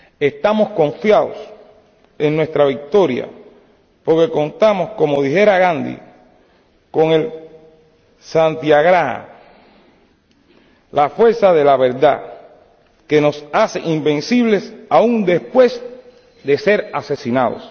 Estamos confiados en nuestra victoria porque contamos —como dijera Gandhi— con el Satyagraha, la fuerza de la verdad que nos hace invencibles aún después de ser asesinados.